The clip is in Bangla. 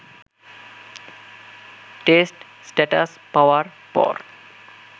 টেস্ট স্ট্যাটাস পাওয়ার পর